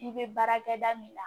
I bɛ baarakɛda min na